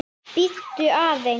Bíddu aðeins.